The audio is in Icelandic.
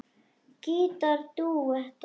Gítar dúettar